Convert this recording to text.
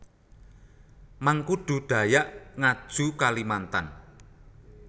Mangkudu Dayak Ngaju Kalimantan